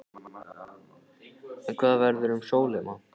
En hvað verður um Sólheima?